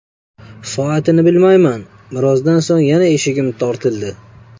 Soatini bilmayman, birozdan so‘ng yana eshigim tortildi.